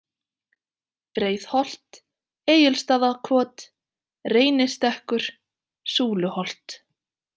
Breiðholt, Egilsstaðakot, Reynistekkur, Súluholt